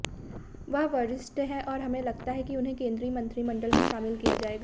वह वरिष्ठ हैं और हमें लगता है कि उन्हें केंद्रीय मंत्रिमंडल में शामिल किया जाएगा